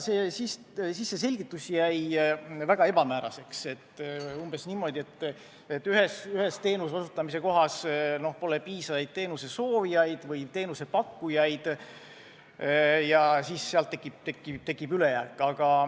See selgitus jäi aga väga ebamääraseks – öeldi umbes niimoodi, et ühes teenuse osutamise kohas pole piisavalt soovijaid või teenusepakkujaid ja sealt tekib ülejääk.